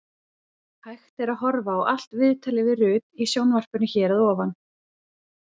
Hægt er að horfa á allt viðtalið við Rut í sjónvarpinu hér að ofan.